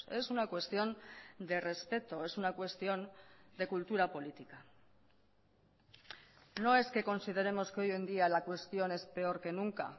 es una cuestión de respeto es una cuestión de cultura política no es que consideremos que hoy en día la cuestión es peor que nunca